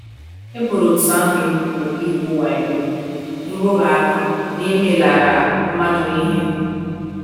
E boro òtù ahụ ebubo igwu wayo, nrụrụ aka, na imelara mmadụ ihe.